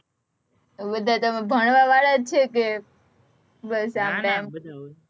બધા તમે ભણવા વાળા જ છે કે બસ આમ તેમ,